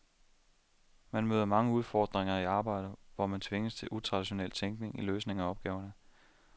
Man møder mange udfordringer i arbejdet, hvor man tvinges til utraditionel tænkning i løsningen af opgaverne.